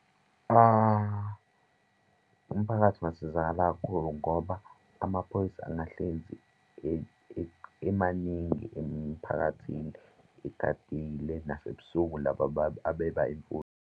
Umphakathi ungasizakala kakhulu ngoba amaphoyisa engahlezi emaningi emphakathini egadile nasebusuku laba abeba imfuyo.